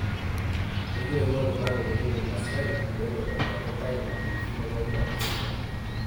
ekirewu oltungani leyiolo ina siai meeu aitobiraki intae ina tv nemegira aasisho